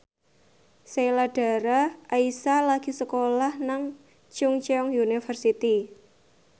Sheila Dara Aisha lagi sekolah nang Chungceong University